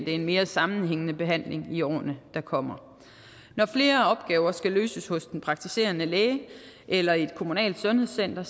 en mere sammenhængende behandling i årene der kommer når flere opgaver skal løses hos den praktiserende læge eller i et kommunalt sundhedscenter